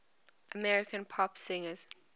american pop singers